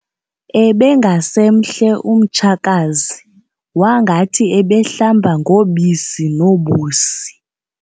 Ebengasemhle umtshakazi wangathi ebehlamba ngobisi nobusi.